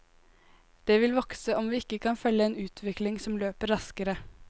Det vil vokse om vi ikke kan følge en utvikling som løper raskere.